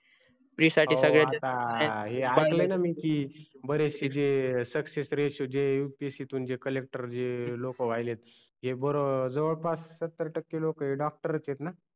pre साठी संगळेच आहे अहो आता हे आले ना की बरेचसे जे success ratio जे upsc तून जे collector जे लोक व्हायलेत हे बर जवळपास सत्तर टक्के लोक हे doctor च आहेत ना